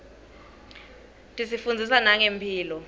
tisifundzisa nangemphilo